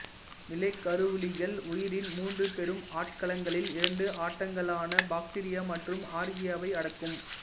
நிலைக் கருவிலிகள் உயிரின் மூன்று பெரும் ஆட்களங்களில் இரண்டு ஆட்களங்களான பாக்டீரியா மற்றும்ஆர்க்கீயாவை அடக்கும்